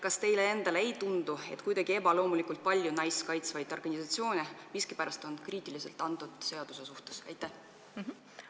Kas teile endale ei tundu, et kuidagi ebaloomulikult palju naisi kaitsvaid organisatsioone on miskipärast selle seaduse suhtes kriitilised?